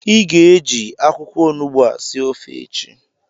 ị ga-eji akwụkwọ onugbu a sie ofe echi!